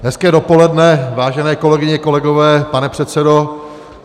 Hezké dopoledne, vážené kolegyně, kolegové, pane předsedo.